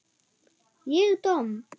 Ég domm?